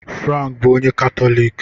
Frank bụ onye Katọlik